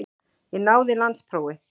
Ég náði landsprófi.